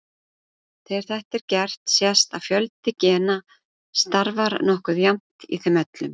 Þegar þetta er gert sést að fjöldi gena starfar nokkuð jafnt í þeim öllum.